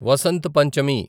Vasant Panchami